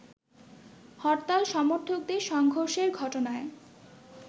হরতাল সমর্থকদের সংঘর্ষের ঘটনায়